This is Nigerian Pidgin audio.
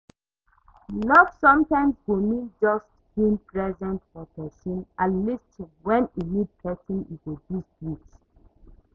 love sometimes go mean just being present for pesin and lis ten when e need pesin e go gist with.